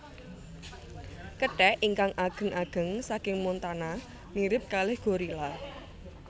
Kethek ingkang ageng ageng saking Montana mirip kalih gorila